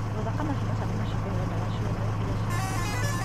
Rora kana ciana ciaku nĩ ikũheo ndawa ciothe iria ciagĩrĩire.